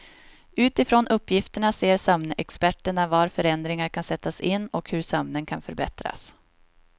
Utifrån uppgifterna ser sömnexperterna var förändringar kan sättas in och hur sömnen kan förbättras.